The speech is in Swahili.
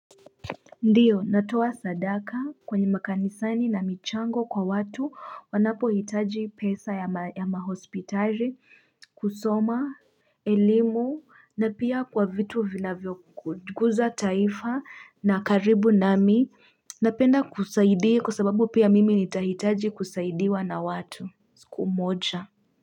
Ndiyo, natoa sadaka kwenye makanisani na michango kwa watu wanapohitaji pesa ya mahospitali, kusoma, elimu, na pia kwa vitu vinavyoguza taifa na karibu nami, napenda kusaidia kwa sababu pia mimi nitahitaji kusaidiwa na watu. Siku moja.